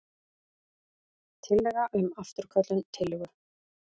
Tillaga um afturköllun tillögu.